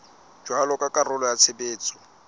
jwalo ka karolo ya tshebetso